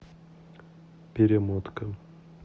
перемотка